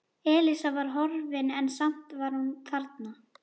Elísa var horfin en samt var hún þarna.